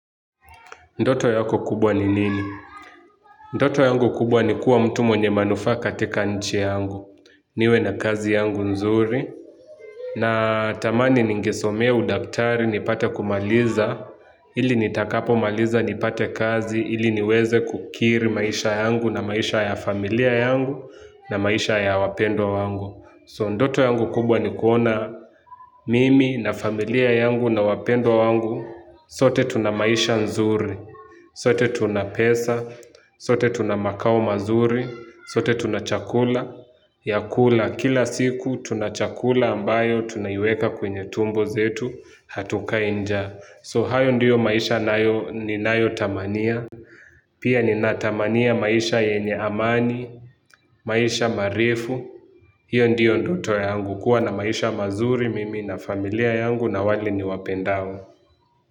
Ndoto yako kubwa ni nini? Ndoto yangu kubwa ni kuwa mtu mwenye manufaa katika nchi yangu. Niwe na kazi yangu nzuri. Natamani ningesomea udaktari nipate kumaliza. Ili nitakapomaliza nipate kazi. Ili niweze kukiri maisha yangu na maisha ya familia yangu na maisha ya wapendwa wangu. So ndoto yangu kubwa ni kuona mimi na familia yangu na wapendwa wangu. Sote tuna maisha nzuri. Sote tuna pesa, sote tuna makao mazuri, sote tuna chakula, ya kula kila siku tuna chakula ambayo tunaiweka kwenye tumbo zetu hatukai njaa. So hayo ndiyo maisha ninayotamania, pia ninatamania maisha yenya amani, maisha marefu, hio ndio ndoto yangu kuwa na maisha mazuri mimi na familia yangu na wale niwapendao.